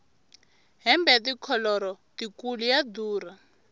hembe ya tikholoro tikulu ya durha